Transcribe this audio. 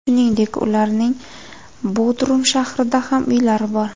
Shuningdek ularning Bodrum shahrida ham uylari bor.